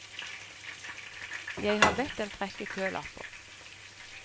Jeg har bedt dem trekke kølapper.